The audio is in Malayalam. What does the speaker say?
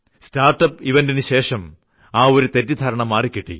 സ്റ്റാർട്ട്അപ്പ് ഇവന്റിനുശേഷം ആ ഒരു തെറ്റിദ്ധാരണ മാറി കിട്ടി